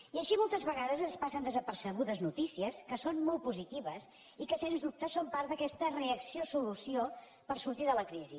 i així moltes vegades ens passen desapercebudes notícies que són molt positives i que sens dubte són part d’aquesta reacció solució per sortir de la crisi